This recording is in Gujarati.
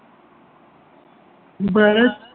ભારત